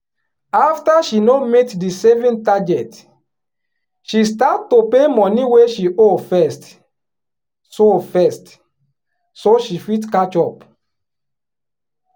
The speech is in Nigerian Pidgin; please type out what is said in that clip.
after she no meet di saving target she start to pay money wey she owe first so first so she fit catch up.